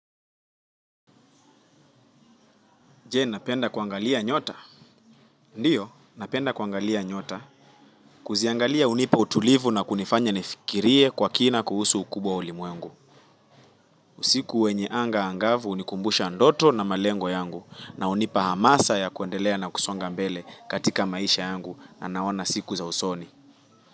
Je, napenda kuangalia nyota. Ndiyo, napenda kuangalia nyota. Kuziangalia hunipa utulivu na kunifanya nifikirie kwa kina kuhusu ukubwa wa ulimwengu. Usiku wenye anga angavu hunikumbusha ndoto na malengo yangu. Na hunipa hamasa ya kuendelea na kusonga mbele katika maisha yangu na naona siku za usoni.